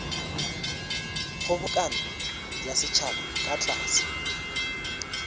kgobokano ya setšhaba ka tlase